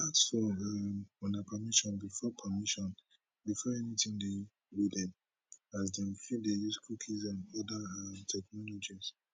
ask for um una permission before permission before anytin dey loaded as dem fit dey use cookies and oda um technologies